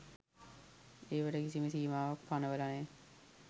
ඒවට කිසිම සීමාවක් පනවල නෑ.